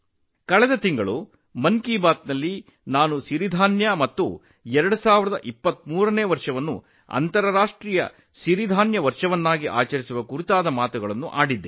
ಕಳೆದ ತಿಂಗಳು ಮನ್ ಕಿ ಬಾತ್ ನಲ್ಲಿ ನಾನು ಸಿರಿಧಾನ್ಯಗಳ ಬಗ್ಗೆ ಮತ್ತು 2023 ರ ವರ್ಷವನ್ನು ಅಂತರರಾಷ್ಟ್ರೀಯ ಸಿರಿಧಾನ್ಯ ವರ್ಷ ಎಂದು ಆಚರಿಸುವ ಬಗ್ಗೆ ಚರ್ಚಿಸಿದ್ದೆ